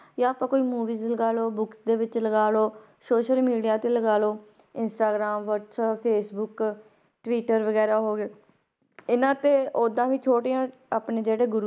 ਜਾਂ ਆਪਾਂ ਕੋਈ movies ਲਗਾ ਲਓ books ਦੇ ਵਿੱਚ ਲਗਾ ਲਓ social media ਤੇ ਲਗਾ ਲਓ ਇੰਸਟਾਗ੍ਰਾਮ, ਵਾਟਸੈਪ, ਫੇਸਬੁੱਕ, ਟਵਿਟਰ ਵਗ਼ੈਰਾ ਹੋ ਗਏ ਇਹਨਾਂ ਤੇ ਓਦਾਂ ਵੀ ਛੋਟੀਆਂ ਆਪਣੇ ਜਿਹੜੇ ਗੁਰੂ